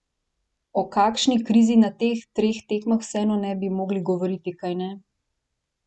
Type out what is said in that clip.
O kakšni krizi na teh treh tekmah vseeno ne bi mogli govoriti, kajne?